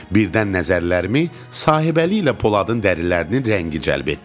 Birdən nəzərlərimi Sahibəli ilə Poladın dərilərinin rəngi cəlb etdi.